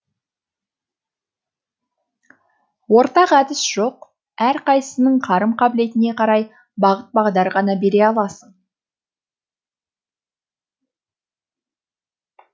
ортақ әдіс жоқ әрқайсысының қарым қабілетіне қарай бағыт бағдар ғана бере аласың